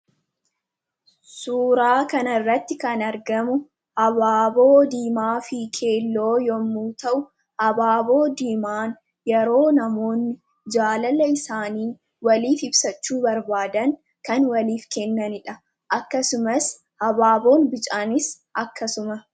suuraa kan irratti kan argamu abaaboo diimaa fi keelloo yommuu ta'u habaaboo diimaan yeroo namoonni jaalala isaaniin waliif ibsachuu barbaadan kan waliif kennanidha akkasumas habaaboon bicaaniis akkasuma